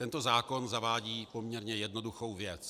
Tento zákon zavádí poměrně jednoduchou věc.